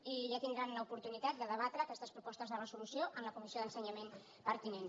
i ja tindran l’oportunitat de debatre aquestes propostes de resolució en la comissió d’ensenyament pertinent